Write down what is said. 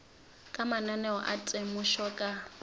ka mananeo a temošo ka